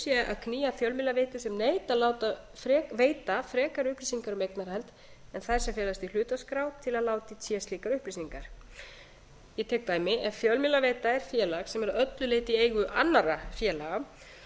sé að knýja fjölmiðlaveitur sem neita að veita frekari upplýsingar um eignarhald en þær sem felast í hlutaskrá til að láta í té slíkar upplýsingar ég tek dæmi ef fjölmiðlaveita er félag sem er að öllu leyti í eigu annarra félaga